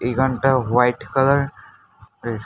এইখানটা white colour এর--